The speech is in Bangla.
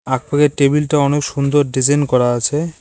টেবিলটা অনেক সুন্দর ডিজাইন করা আছে।